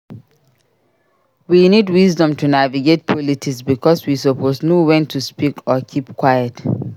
We need wisdom to navigate politics bicos we suppose know wen to speak or keep quiet.